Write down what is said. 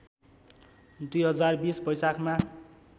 २०२० वैशाखमा